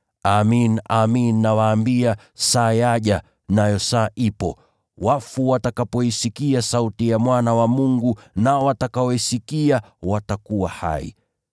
Amin, amin nawaambia, saa yaja, nayo saa ipo, wafu watakapoisikia sauti ya Mwana wa Mungu, nao watakaoisikia watakuwa hai.